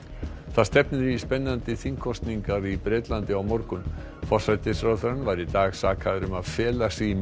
það stefnir í spennandi þingkosningar í Bretlandi á morgun forsætisráðherrann var í dag sakaður um að fela sig í